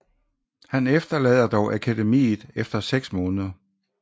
Han forlader dog akademiet efter seks måneder